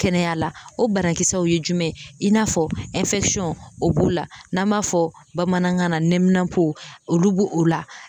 Kɛnɛya la o banakisɛw ye jumɛn ye i n'a fɔ o b'o la n'an b'a fɔ bamanankan na nɛminanpo olu bo o la